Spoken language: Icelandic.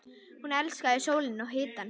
Hún elskaði sólina og hitann.